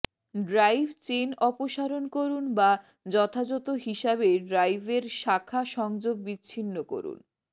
drive chain অপসারণ করুন বা যথাযথ হিসাবে ড্রাইভের শাখা সংযোগ বিচ্ছিন্ন করুন